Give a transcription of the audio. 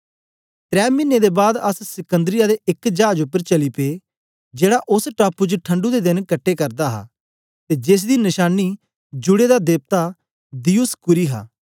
त्रै मिने दे बाद अस सिकन्दरिया दे एक चाज उपर चली पे जेड़ा ओस टापू च ठणढु दे देन कटे करदा हा ते जेसदी नशानी जुड़े दा देवता दियुसकूरी हा